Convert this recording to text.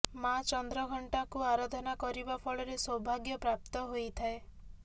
ମା ଚନ୍ଦ୍ରଘଣ୍ଟାକୁ ଆରାଧନା କରିବା ଫଳରେ ସୌଭାଗ୍ୟ ପ୍ରାପ୍ତ ହୋଇଥାଏ